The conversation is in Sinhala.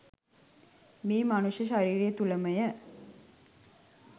මේ මනුෂ්‍ය ශරීරය තුළ මය.